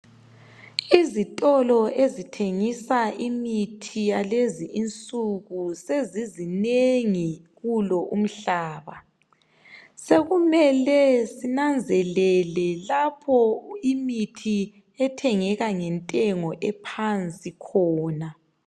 izitolo ezithengisa imithi yalezi insuku sezizinengi kulo umhlaba sekumele sinanzelele lapho imithi ethengeka ngfentengo ephansi khona